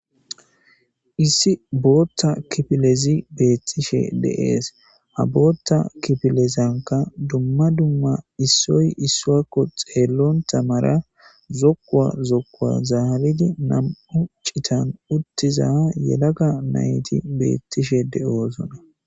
Issi booththa kiffilezi betishe de7es ha booththa kifilezanika dumma dumma issoy issoko xeelonatta malla zooko zookuwa zarridi nam'u cittan utiza yelaga nati bettishe de7osona.